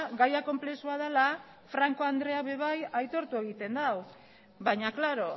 gaia konplexua dela franco andreak ere bai aitortu egin du baina klaro